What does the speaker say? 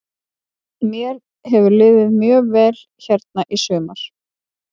Mér hefur liðið mjög vel hérna í sumar.